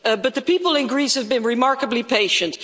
The people in Greece have been remarkably patient.